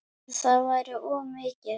Það væri of mikið.